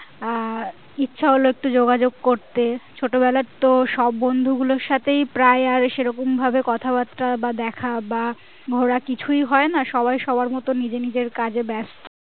আহ ইচ্ছা হলো একটু যোগাযোগ করতে ছোট বেলার তো সব বন্ধু গুলোর সাথেই প্রায় আর সেরকম ভাবে কথা বার্তা বা দেখা বা ঘোড়া কিছুই হয় না সবাই সবার মতো নিজে নিজের কাজে ব্যাস্ত